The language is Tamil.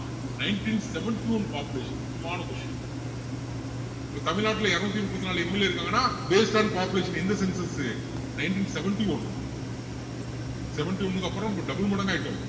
nineteen seventy-one population முக்கியமான question இப்போ தமிழ்நாட்டுல இருநூத்தி முப்பத்து நாலு MLA க்கள் இருக்காங்கன்னா based on population எந்த census உ nineteen seventy-one seventy one க்கு அப்புறம் இப்போ double மடங்கா ஆகிட்டோம்